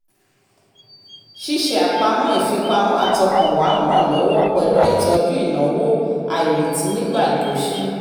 ṣíṣe àpamọ́ ìfipamọ́ àtọkànwá ń ràn lọ́́wọ́ pẹ̀lú ìtọ́jú ináwó àìrètí nígbà ìkóṣí